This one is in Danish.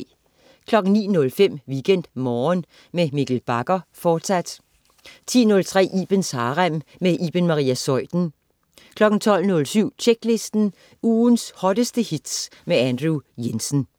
09.05 WeekendMorgen med Mikkel Bagger, fortsat 10.03 Ibens Harem. Iben Maria Zeuthen 12.07 Tjeklisten. Ugens hotteste hits med Andrew Jensen